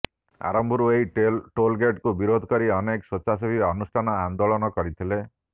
ଆରମ୍ଭରୁ ଏହି ଟୋଲ୍ଗେଟ୍କୁ ବିରୋଧ କରି ଅନେକ ସ୍ୱେଚ୍ଛାସେବୀ ଅନୁଷ୍ଠାନ ଆନେ୍ଦାଳନ କରିଥିଲେ